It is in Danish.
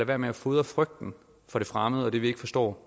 være med at fodre frygten for det fremmede og det vi ikke forstår